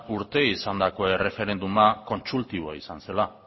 urte izandako erreferenduma